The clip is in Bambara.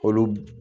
Olu